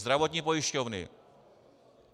Zdravotní pojišťovny.